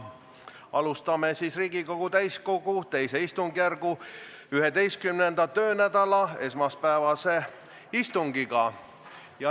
Alustame Riigikogu täiskogu II istungjärgu 11. töönädala esmaspäevast istungit.